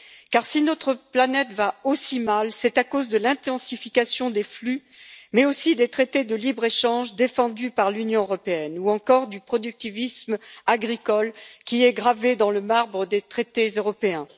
Car si notre planète va aussi mal, c'est à cause de l'intensification des flux, mais aussi des traités de libre échange défendus par l'Union européenne ou encore du productivisme agricole, qui est gravé dans le marbre des traités européens.